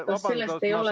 Kas sellest ei ole ...